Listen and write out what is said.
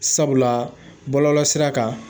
Sabula bɔlɔlɔ sira kan